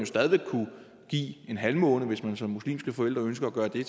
stadig væk kunne give en halvmåne hvis man som muslimske forældre ønsker at gøre det